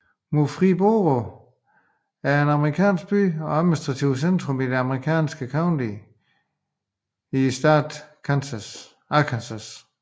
Murfreesboro er en amerikansk by og administrativt centrum i det amerikanske county Pike County i staten Arkansas